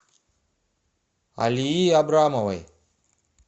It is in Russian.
алии абрамовой